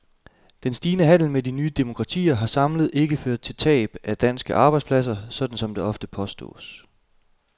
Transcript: Den stigende handel med de nye demokratier har samlet ikke ført til tab af danske arbejdspladser, sådan som det ofte påstås.